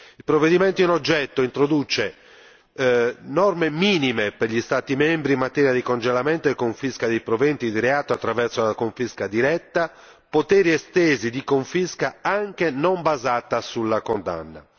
Il provvedimento in oggetto introduce norme minime per gli Stati membri in materia di congelamento e confisca dei proventi di reato attraverso la confisca diretta e poteri estesi di confisca anche non basata sulla condanna.